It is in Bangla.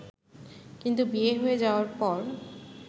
কিন্তু বিয়ে হয়ে যাওয়ার পর